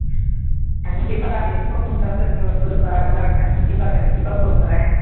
கண்டிப்பா எப்படி கூப்பிடாம இருப்பேன் சொல்லு பார்க்கலாம் கண்டிப்பா கண்டிப்பா கூப்பிடுறேன்